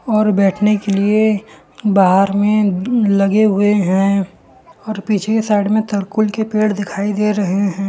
और बैठने के लिए बाहर में लगे हुए हैं और पीछे साइड में तरकुल के पेड़ दिखाई दे रहे हैं।